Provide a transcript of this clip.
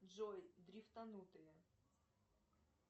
джой дрифтанутые